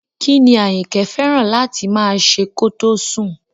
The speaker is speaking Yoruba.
Kí ni Àyìnkẹ́ fẹ́ràn láti máa ṣe kó tó sùn?